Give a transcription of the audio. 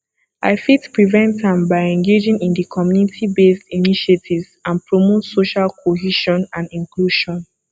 i fit prevent am by engaging in di communitybased initiatives and promote social cohesion and inclusion